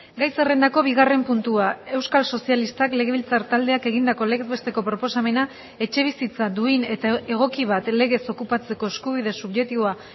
gai zerrendako bigarren puntua euskal sozialistak legebiltzar taldeak egindako legez besteko proposamena etxebizitza duin eta egoki bat legez okupatzeko eskubide subjektiboa